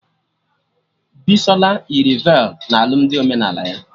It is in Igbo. Bisola yiri velu na alụmdi omenala ya